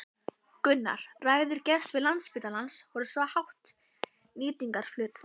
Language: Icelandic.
Gunnar: Ræður geðsvið Landspítalans við svo hátt nýtingarhlutfall?